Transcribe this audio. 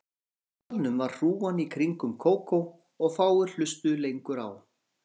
Úti í salnum var hrúgan í kringum Kókó og fáir hlustuðu lengur á